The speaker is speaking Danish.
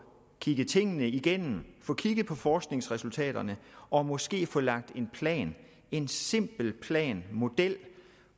kigget tingene igennem få kigget på forskningsresultaterne og måske få lagt en plan en simpel plan model